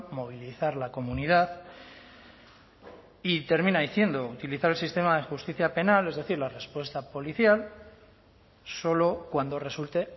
movilizar la comunidad y termina diciendo utilizar el sistema de justicia penal es decir la respuesta policial solo cuando resulte